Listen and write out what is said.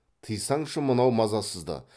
тыйсаңшы мынау мазасызды